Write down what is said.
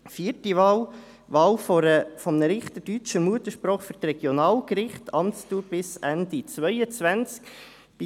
Vierte Wahl: Wahl eines Richters deutscher Muttersprache für die Regionalgerichte, Amtsdauer bis Ende 2022.